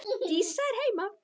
Dísa er heima!